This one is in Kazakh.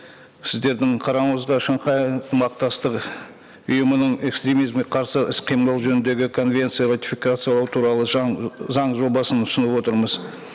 сіздердің қарауыңызға шанхай ынтымақтастығы ұйымының экстремизмге қарсы іс қимыл жөніндегі конвенция ратификациялау туралы заң жобасын ұсынып отырмыз